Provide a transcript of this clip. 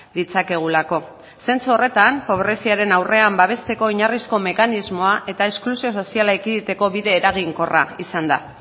ditzakegulako zentzu horretan pobreziaren aurrean babesteko oinarrizko mekanismoa eta esklusio soziala ekiditeko bide eraginkorra izan da